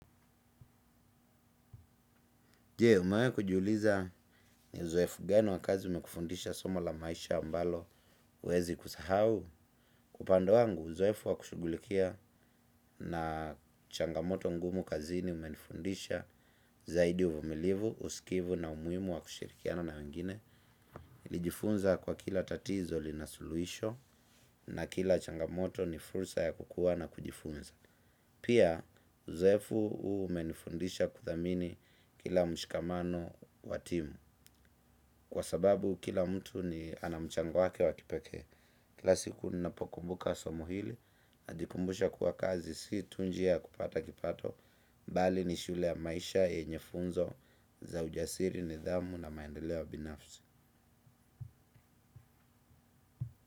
Je, umewahi kujiuliza ni uzoefu gani wa kazi umekufundisha somo la maisha ambalo huwezi kusahau. Kwa upande wangu uzoefu wa kushughulikia na changamoto ngumu kazini umenifundisha zaidi uvumilivu, usikivu na umuhimu wa kushirikiana na wengine. Nilijifunza kuwa kila tatizo lina suluhisho, na kila changamoto ni fursa ya kukua na kujifunza. Pia, uzoefu huu umenifundisha kuthamini kila mshikamano wa timu. Kwa sababu kila mtu ni ana mchango wake wa kipekee kila siku ninapokumbuka somo hili. Najikumbusha kuwa kazi si tu njia ya kupata kipato bali ni shule ya maisha yenye funzo za ujasiri, nidhamu na maendeleo binafsi.